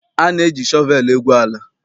A na-eji shọvelụ egwu ala.